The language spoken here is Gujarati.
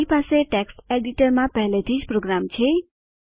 મારી પાસે ટેક્સ્ટ એડિટરમાં પહેલેથી જ પ્રોગ્રામ છે